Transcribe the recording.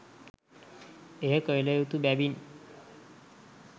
එය කළ යුතු බැවින්